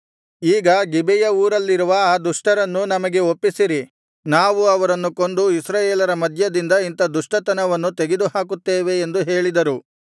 ಈಗ ಗಿಬೆಯ ಊರಲ್ಲಿರುವ ಆ ದುಷ್ಟರನ್ನು ನಮಗೆ ಒಪ್ಪಿಸಿರಿ ನಾವು ಅವರನ್ನು ಕೊಂದು ಇಸ್ರಾಯೇಲರ ಮಧ್ಯದಿಂದ ಇಂಥ ದುಷ್ಟತನವನ್ನು ತೆಗೆದುಹಾಕುತ್ತೇವೆ ಎಂದು ಹೇಳಿದರು